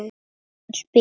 Hann spyr.